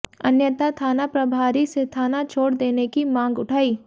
अन्यथा थाना प्रभारी से थाना छोड़ देने की मांग उठाई